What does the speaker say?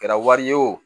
Kɛra wari ye o